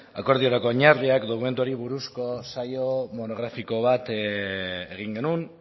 akordiorako oinarriak dokumentuari buruzko saio monografikoa bat egin genuen